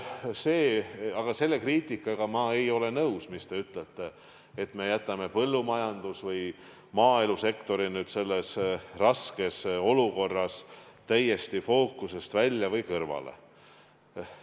Aga selle kriitikaga ma ei ole nõus, mis te ütlete, et me jätame põllumajandus- või maaelusektori nüüd selles raskes olukorras täiesti fookusest välja või kõrvale.